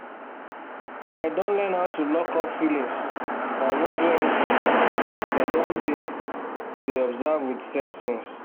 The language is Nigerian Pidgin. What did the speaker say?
i don learn how to lockup feelings and no do anything since i don dey dey observe with sensings